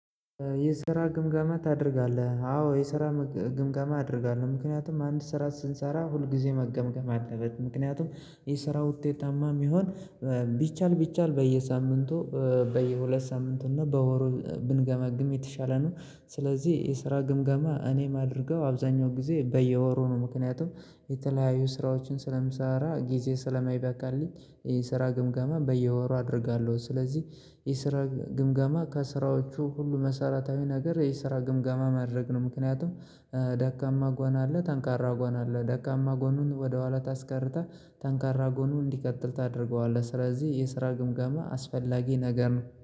የስራ ግምገማ ታደርጋለህ? አዎ የስራ ግምገማ አደርጋለሁ ምክንያቱም አንድ ስራ ስንሰራ ሁል ጊዜ መገምገም አለበት ምክንያቱም የስራ ውጤታማ የሚሆን ቢቻል ቢቻል በየሳምንቱ በየሁለት ሳምንቱ እና በወሩ ብንገመግም የተሻለ ነው። ስለዚህ የስራ ግምገማ እኔ አማደርገው አብዛኛው ጊዜ በየወሩ ነው። ምክንያቱም የተለያዩ ስራዎችን ስለምሳራ ጊዜ ስለማይበቃኝ የስራ ግምገማ በየወሩ አደርጋለሁ። ስለዚህ የሰራ ግምገማ ከስራዎቹ ሁሉ መሰረታዊ ነገር የስራ ግምገማ ማድረግ ነው። ምክንያቱም ደካማ ጎን አለ ጠንካራ ጎን አለ ደካማ ጎኑን ወደ ኋላ ታስቀራለህ ጠንካራ ጎኑን እንዲቀጥል ታደርገዋለህ። ስለዚህ የስራ ግምገማ አስፈላጊ ነገር ነው